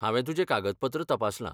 हांवें तुजें कागदपत्र तपासलां.